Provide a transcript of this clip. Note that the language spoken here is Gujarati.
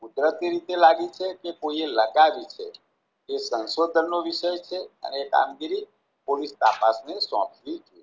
કુદરતી રીતે લાગી છે કે કોઈએ લગાવી છે એ સંશોધનનો વિષય છે અને એ કામગીરી પોલિસ તપાસને સોંપવી જોઈએ.